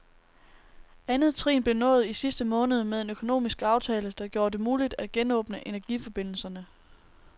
Andet trin blev nået i sidste måned med en økonomisk aftale, der gjorde det muligt at genåbne energiforbindelserne.